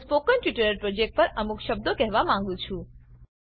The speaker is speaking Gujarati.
હું સ્પોકન ટ્યુટોરીયલ પ્રોજેક્ટ પર અમુક શબ્દો કહેવા માંગું છું